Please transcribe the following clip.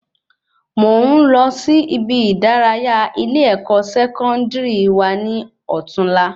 Mò n lọ sí ibi ìdárayá ile-ẹkọ Sẹkọndiri wa ni ọtún la